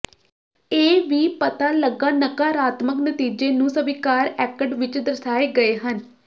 ਇਹ ਵੀ ਪਤਾ ਲੱਗਾ ਨਕਾਰਾਤਮਕ ਨਤੀਜੇ ਨੂੰ ਸਵੀਕਾਰ ਐਕਟ ਵਿੱਚ ਦਰਸਾਏ ਗਏ ਹਨ